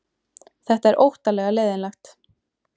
Þetta er óttalega leiðinlegt